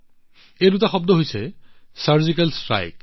এই দুটা শব্দ হৈছে চাৰ্জিকেল ষ্ট্ৰাইক